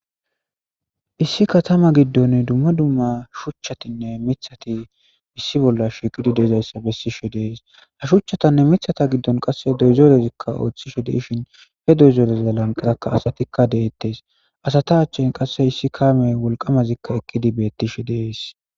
issi katama giddon dumma dumma shuchchatinne mithati issi bolla shiqidi deezayssa bessishe dees ha shuchchatanne mithata giddon qasse doyzerezikka ooththishe deshin he deyzeoreza lanqarakka asatikka deettes asata achchin qasse issi kaamey wolqamazikka ekkidi beettishe dees